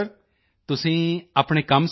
ਤੁਸੀਂ ਆਪਣੇ ਕੰਮ ਸਬੰਧੀ